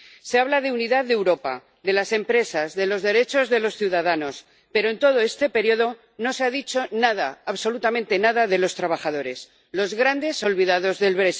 Se habla de unidad de Europa, de las empresas, de los derechos de los ciudadanos, pero, en todo este periodo, no se ha dicho nada, absolutamente nada, de los trabajadores, los grandes olvidados del